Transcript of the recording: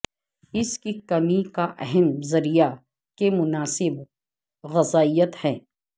اس کی کمی کا اہم ذریعہ کے مناسب غذائیت ہے